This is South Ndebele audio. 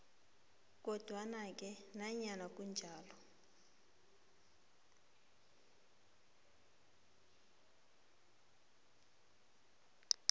kodwanake nanyana kunjalo